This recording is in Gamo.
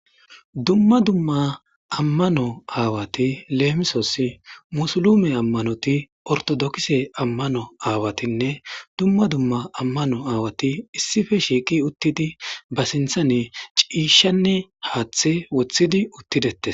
dumma dumma ammano aawati leemisoss musulume ammanoti ortodokise ammano aawatinne dumma dumma ammano aawati issife shiiqi uttidi ba sinthane ciishanne haaththe woththidi uttidetes